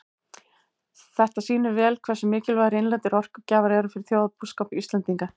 Þetta sýnir vel hversu mikilvægir innlendir orkugjafar eru fyrir þjóðarbúskap Íslendinga.